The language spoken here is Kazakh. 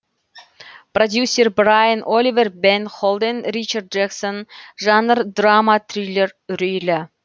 продюсер брайан оливер бен холден ричард джексон жанр драма триллер үрейлі